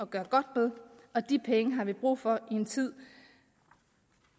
gøre godt med og de penge har vi brug for i en tid